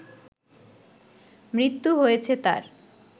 মৃত্যু হয়েছে তার